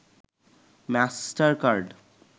master card